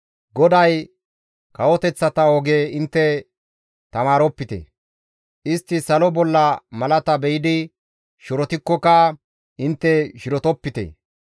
GODAY, «Kawoteththata oge intte tamaaropite. Istti salo bolla malata be7idi shirotikkoka, intte shirotopite.